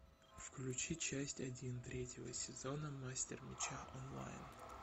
включи часть один третьего сезона мастер меча онлайн